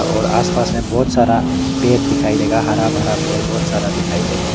और आसपास में बहुत सारा पेड़ दिखाई देगा हरा भरा पेड़ बहुत सारा दिखाई देगा।